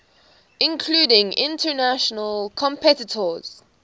including international competitors